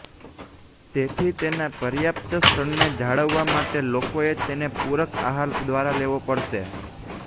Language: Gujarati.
તેથી તેના પર્યાપ્ત સ્તરને જાળવવા માટે લોકોએ તેને પૂરક આહાર દ્વારા લેવો પડશે